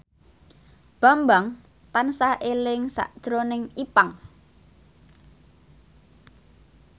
Bambang tansah eling sakjroning Ipank